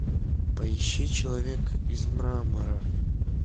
поищи человек из мрамора